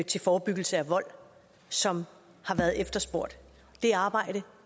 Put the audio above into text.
til forebyggelse af vold som har været efterspurgt det arbejde